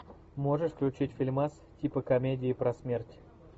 можешь включить фильмас типа комедии про смерть